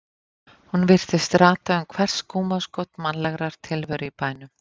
Hún virtist rata um hvert skúmaskot mannlegrar tilveru í bænum.